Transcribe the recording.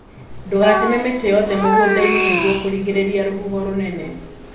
Ndũgateme mĩtĩ yothe mũgundainĩ nĩguo kũgirĩrĩria rũhuho rũnene.